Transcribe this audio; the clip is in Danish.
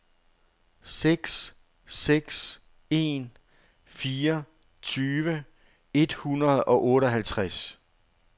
seks seks en fire tyve et hundrede og otteoghalvtreds